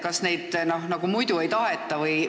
Kas neid muidu ei taheta?